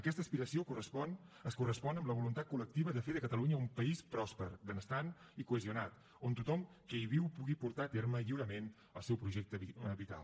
aquesta aspiració es correspon amb la voluntat col·lectiva de fer de catalunya un país pròsper benestant i cohesionat on tothom que hi viu pugui portar a terme lliurement el seu projecte vital